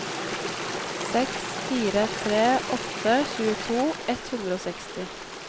seks fire tre åtte tjueto ett hundre og seksti